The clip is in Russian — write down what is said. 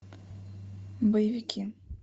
боевики